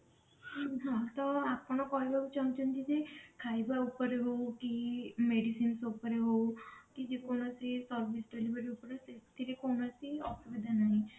ହଁ ହଁ ତ ଆପଣ କହିବାକୁ ଚାହୁଞ୍ଚନ୍ତି ଯେ ଖାଇବା ଉପରେ ହଉ କି medicine ଉପରେ ହଉ କି ଯେକୌଣସି service delivery ଉପରେ ସେଥିରେ କୌଣସି ଅସୁବିଧା ନାହିଁ